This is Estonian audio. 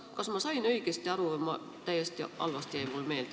Kas ma sain õigesti aru või jäi see mulle täiesti valesti meelde?